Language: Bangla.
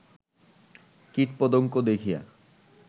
কীট পতঙ্গ দেখিয়া